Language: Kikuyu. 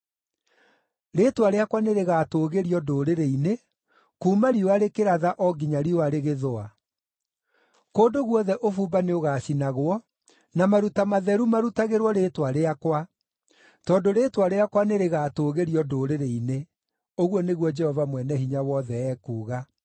Rĩĩtwa rĩakwa nĩrĩgatũũgĩrio ndũrĩrĩ-inĩ, kuuma riũa rĩkĩratha o nginya riũa rĩgĩthũa. Kũndũ guothe ũbumba nĩũgacinagwo na maruta matheru marutagĩrwo rĩĩtwa rĩakwa, tondũ rĩĩtwa rĩakwa nĩrĩgatũũgĩrio ndũrĩrĩ-inĩ,” ũguo nĩguo Jehova Mwene-Hinya-Wothe ekuuga.